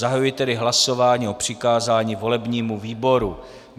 Zahajuji tedy hlasování o přikázání volebnímu výboru.